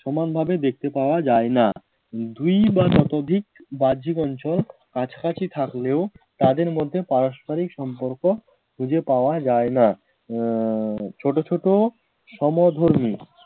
সমানভাবে দেখতে পাওয়া যায় না দুই বা ততোধিক বাহ্যিক অঞ্চল কাছাকাছি থাকলেও তাদের মধ্যে পারস্পরিক সম্পর্ক খুঁজে পাওয়া যায় না আহ ছোট ছোট সমধর্মী